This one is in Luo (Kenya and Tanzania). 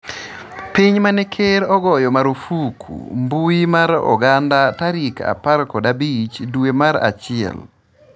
piny mane ker ogoyo marufuku mbui mar oganda tarik apar kod abich dwe mar achiel